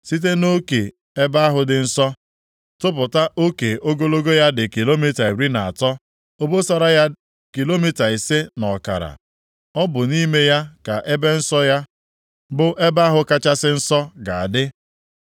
Site nʼoke ebe ahụ dị nsọ, tụpụta oke ogologo ya dị kilomita iri na atọ, obosara ya kilomita ise na ọkara. Ọ bụ nʼime ya ka ebe nsọ, ya bụ Ebe ahụ Kachasị Nsọ ga-adị.